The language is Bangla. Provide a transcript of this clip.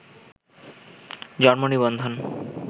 জন্মনিবন্ধন